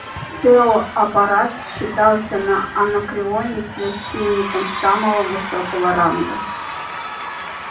тео апорат считался на анакреоне священником самого высокого ранга